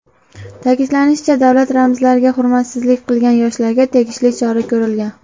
Ta’kidlanishicha, davlat ramzlariga hurmatsizlik qilgan yoshlarga tegishli chora ko‘rilgan.